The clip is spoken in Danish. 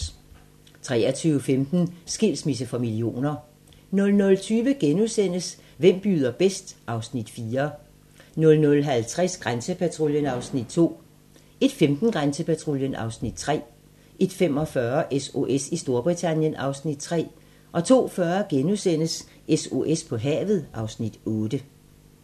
23:15: Skilsmisse for millioner 00:20: Hvem byder bedst? (Afs. 4)* 00:50: Grænsepatruljen (Afs. 2) 01:15: Grænsepatruljen (Afs. 3) 01:45: SOS i Storbritannien (Afs. 3) 02:40: SOS på havet (Afs. 8)*